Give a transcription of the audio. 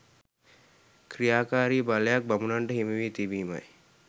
ක්‍රියාකාරි බලයක් බමුණන්ට හිමිව තිබීමයි.